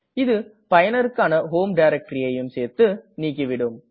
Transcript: இது பயனருக்கான ஹோம் directoryஐயும் சேர்த்து நீக்கிவிடும்